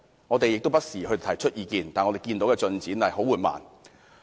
我們不時提出意見，但進展卻十分緩慢。